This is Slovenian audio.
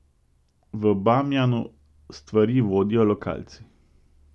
V Bamjanu stvari vodijo lokalci.